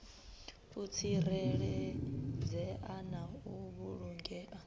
u tsireledzea na u vhulungea